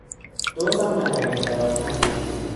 Tos amach agerte ropta nguno